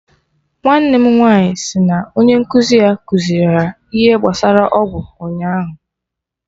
Nwanne m nwaanyị si na onye nkụzi ya kuziri ha ihe gbasara ọgwụ ụnyaahụ